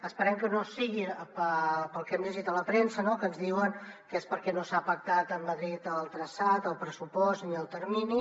esperem que no sigui pel que hem llegit a la premsa no que ens diuen que és perquè no s’han pactat amb madrid el traçat el pressupost ni el termini